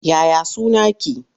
Ya ya sunaki?